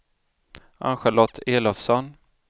Ann-Charlotte Elofsson